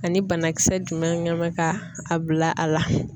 Ani banakisɛ jumɛn bɛ ka a bila a la.